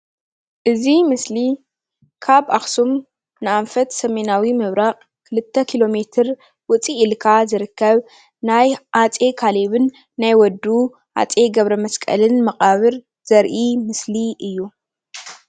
እዚ ምስሊ ካብ ኣክሱም ንኣንፈት ሰሜናዊ ምብራቅ 2 ኪሎ ሜትር ውፅእ ኢልካ ዝርከብ ናይ ኣፀይ ካሌብን ናይ ወዱ ኣፀይ ገብረመስቀልን መቃብር ዘርኢ ምስሊ እዩ፡፡